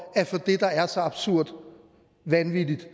at få det der er så absurd vanvittigt